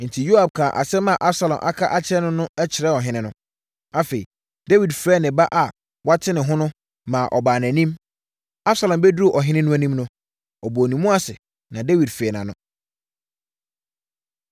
Enti, Yoab kaa asɛm a Absalom aka akyerɛ no no kyerɛɛ ɔhene no. Afei, Dawid frɛɛ ne ba a wate ne ho no, ma ɔbaa nʼanim. Absalom bɛduruu ɔhene no anim no, ɔbɔɔ ne mu ase, na Dawid fee nʼano.